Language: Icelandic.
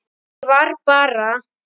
Ég var bara.